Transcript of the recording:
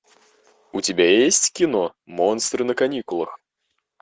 у тебя есть кино монстры на каникулах